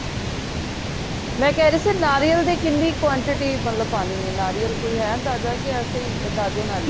ਮੈਂ ਕਹਿ ਰਹੀ ਸੀ ਨਾਰੀਅਲ ਦੀ ਕਿੰਨੀ quantity ਮਤਲਬ ਪਾਣੀ ਏ ਨਾਰੀਅਲ ਕੋਈ ਹੈ ਅੰਦਾਜਾ ਕੇ ਏਸੇ ਅੰਦਾਜੇ ਨਾਲ ਹੀ